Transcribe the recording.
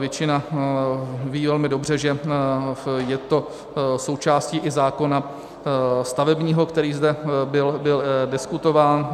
Většina ví velmi dobře, že je to součástí i zákona stavebního, který zde byl diskutován.